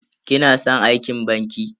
Kina san aikin banki?